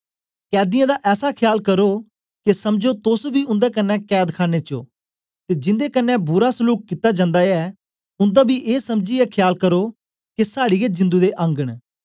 कैदीयें दा ऐसा ख्याल करो के समझो तोस बी उन्दे क्न्ने कैदखाने ओ ते जिंदे कन्ने बुरा सलूक कित्ता जन्दा ऐ उन्दा बी ए समझीयै ख्याल करो के साड़ी गै जिंदु दे अंग न